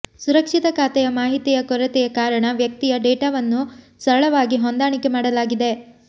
ಸುರಕ್ಷಿತ ಖಾತೆಯ ಮಾಹಿತಿಯ ಕೊರತೆಯ ಕಾರಣ ವ್ಯಕ್ತಿಯ ಡೇಟಾವನ್ನು ಸರಳವಾಗಿ ಹೊಂದಾಣಿಕೆ ಮಾಡಲಾಗಿದೆ